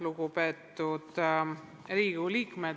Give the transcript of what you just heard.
Lugupeetud Riigikogu liikmed!